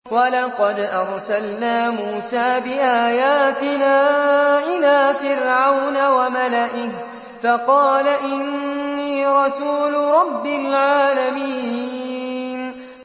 وَلَقَدْ أَرْسَلْنَا مُوسَىٰ بِآيَاتِنَا إِلَىٰ فِرْعَوْنَ وَمَلَئِهِ فَقَالَ إِنِّي رَسُولُ رَبِّ الْعَالَمِينَ